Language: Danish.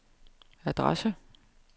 adresse